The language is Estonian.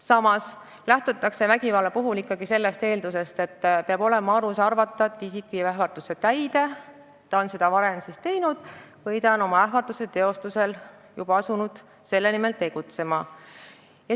Samas lähtutakse vägivalla puhul eeldusest, et peab olema alus arvata, et ähvardaja viib oma ähvarduse täide, ta on seda kas varem teinud või on juba asunud selle nimel tegutsema.